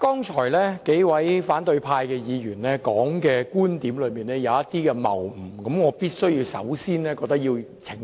主席，數位反對派議員剛才提出的觀點，存在一些謬誤，我認為必須先作澄清。